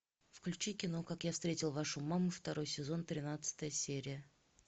включи кино как я встретил вашу маму второй сезон тринадцатая серия